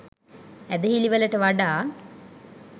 ඇදහිලිවලට වඩා